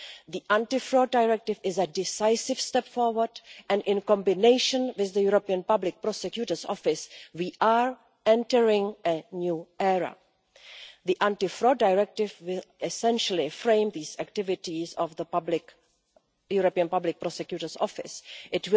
The Anti-Fraud Directive is a decisive step forward and, in combination with the European Public Prosecutor's Office, we are entering a new era. The Anti Fraud Directive will essentially frame the activities of the European Public Prosecutor's Office It